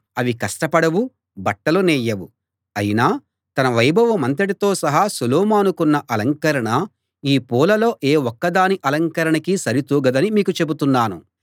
అవి కష్టపడవు బట్టలు నేయవు అయినా తన వైభవమంతటితో సహా సొలొమోనుకున్న అలంకరణ ఈ పూలలో ఏ ఒక్కదాని అలంకరణకీ సరి తూగదని మీకు చెబుతున్నాను